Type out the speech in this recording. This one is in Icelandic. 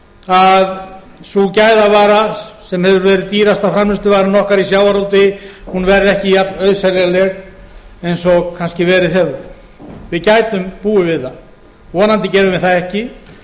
að sú gæðavara sem hefur verið dýrasta framleiðsluvaran okkar í sjávarútvegi verði ekki jafnauðseljanleg eins og kannski verið hefur við gætum búið við það vonandi gerum við það ekki